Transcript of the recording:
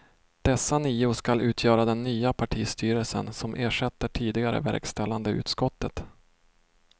Dessa nio skall utgöra den nya partistyrelsen som ersätter tidigare verkställande utskottet.